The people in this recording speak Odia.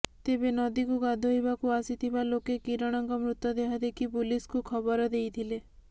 ତେବେ ନଦୀକୁ ଗାଧୋଇବାକୁ ଆସିଥିବା ଲୋକେ କିରଣଙ୍କ ମୃତଦେହ ଦେଖି ପୁଲିସ୍କୁ ଖବର ଦେଇଥିଲେ